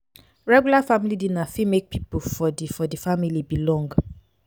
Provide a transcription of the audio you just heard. regular family dinner fit make pipo for di for di family belong